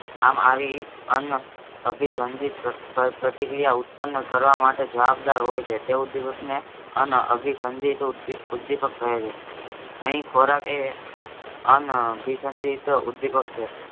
આમ આવી અનઅભિસંધિત પ્રત્ પ પ્રક્રિયા ઉત્પન્ન કરવામાટે જબાબદાર હોયછે તે ઉદ્દીપકને અનઅભિસંધિત ઉદ્દી ઉદ્દીપક કહેછે. અહીં ખોરાક એ અનઅભિસંધિત ઉદ્દીપક છે